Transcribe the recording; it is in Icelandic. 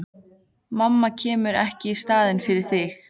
Mamma kemur ekki í staðinn fyrir þig.